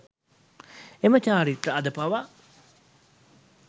එම චාරිත්‍රය අද පවා